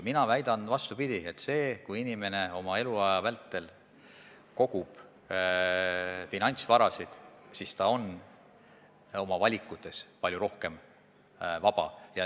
Mina väidan, vastupidi, et kui inimene oma eluaja vältel kogub finantsvara, siis ta on oma valikutes palju rohkem vaba.